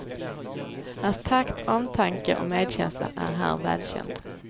Hans takt, omtanke och medkänsla är här välkänd.